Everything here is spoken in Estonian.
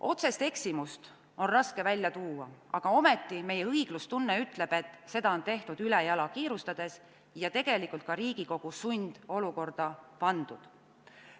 Otsest eksimust on raske välja tuua, aga ometi meie õiglustunne ütleb, et seda on tehtud ülejala, kiirustades, ja tegelikult on ka Riigikogu sundolukorda pandud.